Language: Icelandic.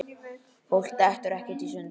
Fólk dettur ekkert í sundur.